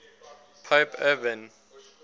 pope urban